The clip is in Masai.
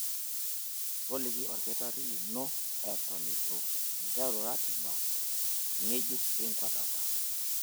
Toliki olkitarri lino eton eitu interu ratiba ng'ejuk enkuatata.